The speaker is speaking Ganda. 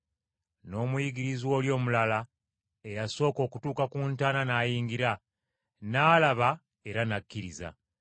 N’omuyigirizwa oli omulala, eyasooka okutuuka ku ntaana n’ayingira. N’alaba era n’akkiriza.